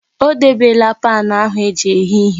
O debela paanụ ahụ eji eghe ihe.